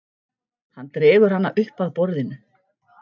Hann dregur hana upp að borðinu.